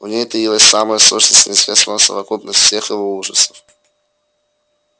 в ней таилась самая сущность неизвестного совокупность всех его ужасов